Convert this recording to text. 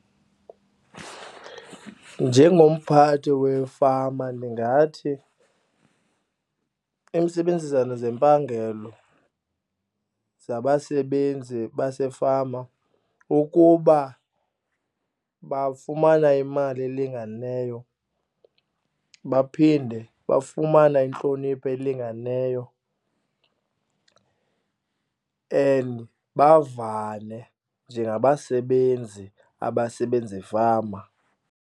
Njengomphathi wefama ndingathi, intsebenzisano zempangelo zabasebenzi basefama ukuba bafumana imali elinganeyo baphinde bafumane intlonipho elinganeyo and bavane njengabasebenzi abasebenza efama.